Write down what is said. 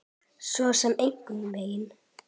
Svo sem engan veginn